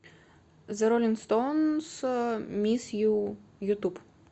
зе роллинг стоунс мисс ю ютуб